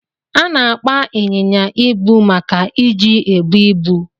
Ana akpa inyinya ibu maka iji ebu ibu.